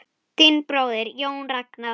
Þinn bróðir, Jón Ragnar.